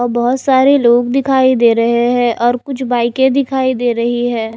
और बहोत सारे लोग दिखाई दे रहे हैं और कुछ बाईके दिखाई दे रही है।